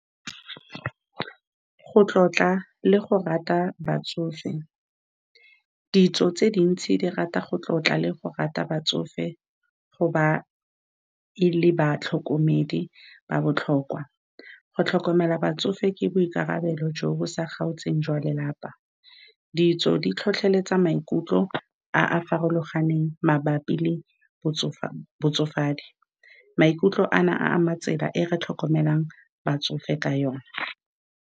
Go tlotla le go rata batsofe, ditso tse dintsi di rata go tlotla le go rata batsofe, go ba e le batlhokomedi ba ba botlhokwa. Go tlhokomela batsofe ke boikarabelo jo bo sa kgaotseng jwa lelapa. Ditso di tlhotlheletsa maikutlo a a farologaneng mabapi le botsofa, botsofadi, maikutlo a na a ama tsela e re tlhokomelang batsofe ka yone.